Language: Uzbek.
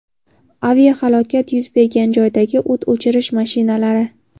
Aviahalokat yuz bergan joydagi o‘t o‘chirish mashinalari.